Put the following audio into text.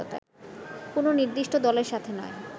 “কোন নির্দিষ্ট দলের সাথে নয়